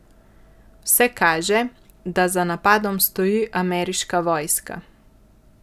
Vse kaže, da za napadom stoji ameriška vojska.